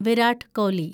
Virat Kohli